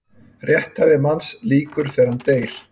Rétthæfi manns lýkur þegar hann deyr.